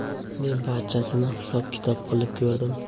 Men barchasini hisob-kitob qilib ko‘rdim.